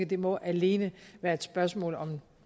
det må alene være et spørgsmål om